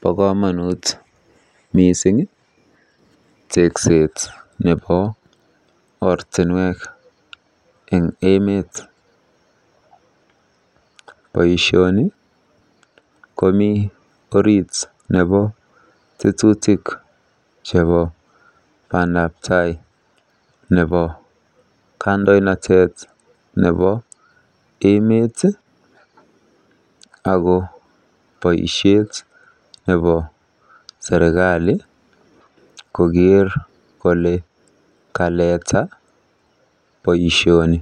Bo komonut mising tekset nebo ortinwek eng emet. Boisioni komi tetutik chebo bandabtai chebo kandoinatet nebo emet ako boisiet nebo serikali koker kole kaleta boisioni.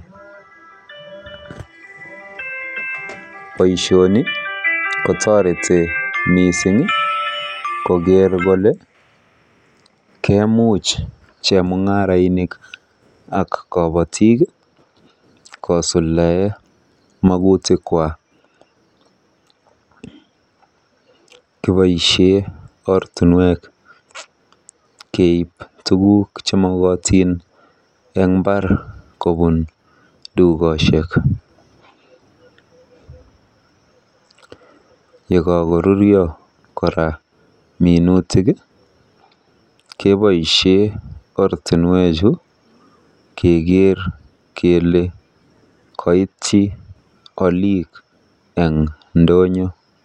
Boisioni kotoreti mising koker kole kemuch chemung'arainik ak kobotik kosuldae magutikwa. Kiboisie ortinwek keib tuguuk chemokotin eng mbar kobun dukosiek. Yekakorurio minutik keboisie ortinwechu keker kele koityi olik eng ndonyo.